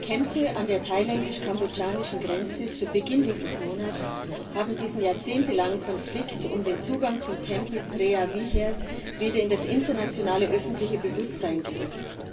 Die Kämpfe an der thailändisch kambodschanischen Grenze zu Beginn dieses Monats haben diesen jahrzehntelangen Konflikt um den Zugang zum Tempel Preah Vihear wieder in das internationale öffentliche Bewusstsein gerückt.